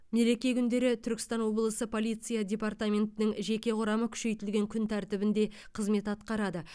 мереке күндері түркістан облысы полиция департаментінің жеке құрамы күшейтілген күн тәртібінде қызмет атқарады